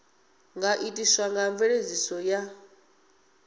nga itiswa nga mveledziso ya